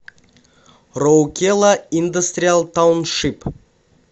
роукела индастриал тауншип